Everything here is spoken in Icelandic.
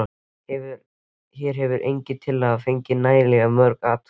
Hér hefur engin tillaga fengið nægjanlega mörg atkvæði.